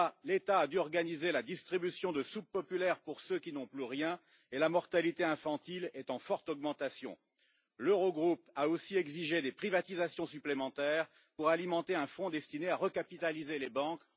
L'État a dû organiser la distribution de soupe populaire pour ceux qui n'ont plus rien et la mortalité infantile est en forte augmentation. L'Eurogroupe a aussi exigé des privatisations supplémentaires pour alimenter un fonds destiné à recapitaliser les banques.